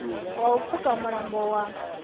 wa u pfuka mulambo wa